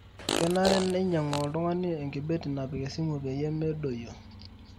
kenare neinyangu oltungani enkibeti napik esimu peyie medoyio